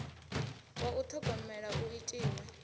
wa u ṱhogomela u itiwe